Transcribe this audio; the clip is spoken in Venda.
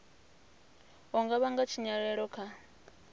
u nga vhanga tshinyalelo kha